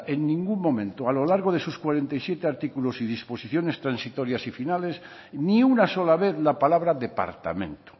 en ningún momento a lo largo de sus cuarenta y siete artículos y disposiciones transitorias y finales ni una sola vez la palabra departamento